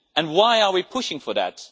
Why are we pushing for that?